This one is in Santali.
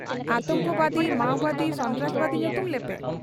ᱟᱛᱚᱝᱠᱚᱵᱟᱫᱤ, ᱢᱟᱣᱵᱟᱫᱤ, ᱥᱚᱱᱛᱨᱟᱥᱵᱟᱫᱤ, ᱧᱩᱛᱩᱢ ᱞᱮᱯᱮ ᱾